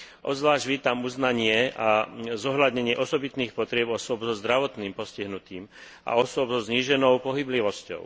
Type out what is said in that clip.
Obzvlášť vítam uznanie a zohľadnenie osobitných potrieb osôb so zdravotným postihnutím a osôb so zníženou pohyblivosťou.